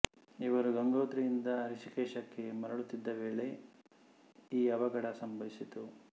ಇವರು ಗಂಗೋತ್ರಿಯಿಂದ ಹೃಷೀಕೇಶಕ್ಕೆ ಮರಳುತ್ತಿದ್ದ ವೇಳೆ ಈ ಅವಘಡ ಸಂಭವಿಸಿತು